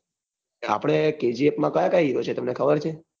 આપડે kgf માં કયા કયા hiro છે તમને ખબર છે?